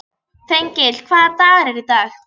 Þengill, hvaða dagur er í dag?